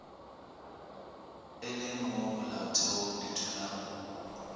e leng mo molaotheong dithulano